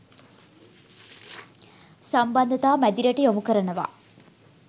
සම්බන්ධතා මැදිරියට යොමු කරනවා